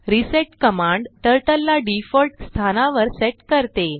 reset command turtle ला default स्थानावर set करते